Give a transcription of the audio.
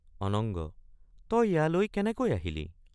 অনঙ্গ—তই ইয়ালৈ কেনেকৈ আহিলি?